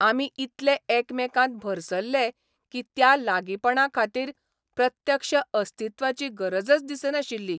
आमी इतले एकामेकांत भरसल्ले की त्या लागीपणा खातीर प्रत्यक्ष अस्तित्वाची गरजच दिसनाशिल्ली.